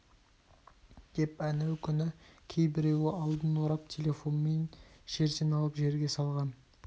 деп әнеукүні кейбіреуі алдын орап телефонмен жерден алып жерге салған